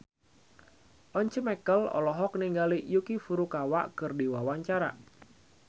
Once Mekel olohok ningali Yuki Furukawa keur diwawancara